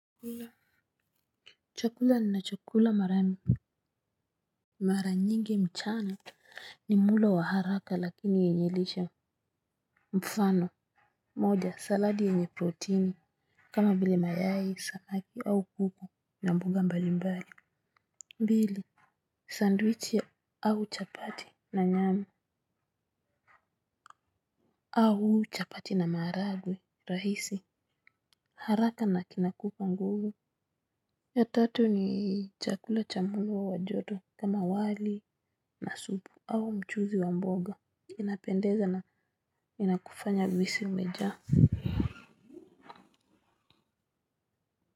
Chakula. Nina chokula marami. Maranyingi mchana ni muda wa haraka lakini enyilisha mfano. Moja saladi enye proteini. Kama vile mayai, samaki au kuku na mboga mbali mbali. Pili. Sandwichi au chapati na nyama. Au chapati na maragwe rahisi. Haraka na kinakupa nguvu. Ya tatu ni chakula cha mulu wa wajodo kama wali na supu. Au mchuzi wa mboga inapendeza na inakufanya uhisi umejaa.